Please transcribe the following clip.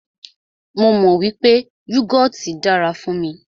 Mó mọ wípé yúgọọ́ti dára fún mí.